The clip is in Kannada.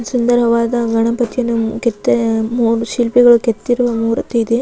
ಸುಂದರವಾದ ಗಣಪತಿಯನ್ನು ಕೆತ್ತ ಶಿಲ್ಪಿಗಳು ಕೆತ್ತಿರುವ ಮೂರ್ತಿ ಇದೆ.